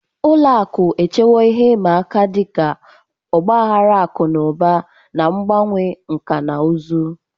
Ụlọ akụ echewo ihe ịma aka ndị dị ka ọgba aghara akụ na ụba, na mgbanwe nkà na ụzụ.